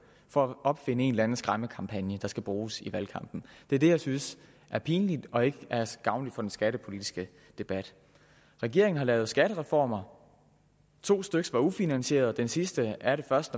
for at opfinde en eller anden skræmmekampagne der skal bruges i valgkampen det er det jeg synes er pinligt og ikke gavnligt for den skattepolitiske debat regeringen har lavet skattereformer to styk var ufinansierede og den sidste er først